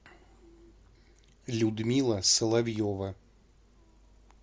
людмила соловьева